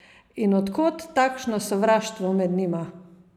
In od kod takšno sovraštvo med njima?